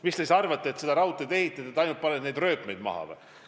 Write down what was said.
Kas te arvate, et seda raudteed ehitades paned ainult rööpmeid maha või?